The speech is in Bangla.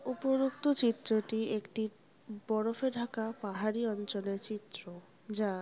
উপরোক্ত চিত্রটি একটি বরফে ঢাকা পাহাড়ি অঞ্চলে চিত্র যা --